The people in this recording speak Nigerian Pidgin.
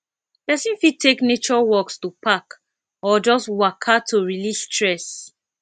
persin fit take nature walks to park or just waka to release stress